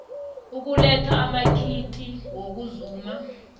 ukuletha amakhiti wokuzuma